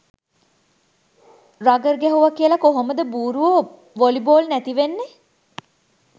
Rugger ගැහුව කියල කොහොමද බූරුවො වොලි බෝල් නැති වෙන්නෙ.